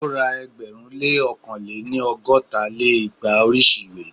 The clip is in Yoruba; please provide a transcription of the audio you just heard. ó ra ẹgbẹ̀rún lé ókàn lé-ní- ọgọ́ta lé igba oríṣi ìwé